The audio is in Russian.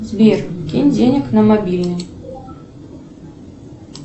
сбер кинь денег на мобильник